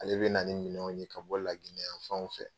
Ale bɛna ni minɛnw ye ka bɔ La Guinée yanfanw fɛ.